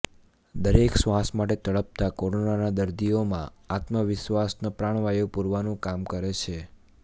દરેક શ્વાસ માટે તડપતા કોરોનાના દર્દીઓમાં આત્મવિશ્વાસનો પ્રાણવાયુ પૂરવાનું કામ કરે છે